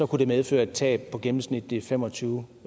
kunne det medføre et tab på gennemsnitligt fem og tyve